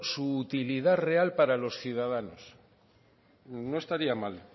su utilidad real para los ciudadanos no estaría mal